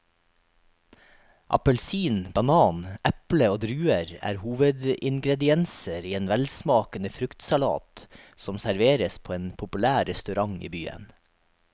Appelsin, banan, eple og druer er hovedingredienser i en velsmakende fruktsalat som serveres på en populær restaurant i byen.